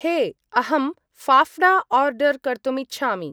हे, अहं फाफ्डा आर्डर् कर्तुम् इच्छामि।